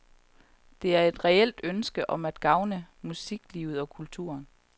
Det er et reelt ønske om at gavne musiklivet og kulturen.